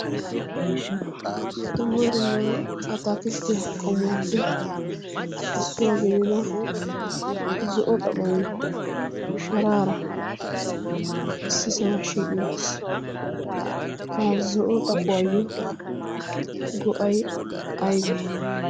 dumma dumma ataakidtiya qomuwaappe issuwaa geedida zo'o xaphoi sharaara issisaa shiiqi uttiis. ha zo'o xaphuwaayyo go'ay aibee?